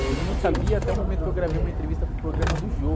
Ele não sabia até o momento que eu gravei uma entrevista para o programa do Jô.